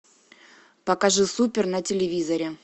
покажи супер на телевизоре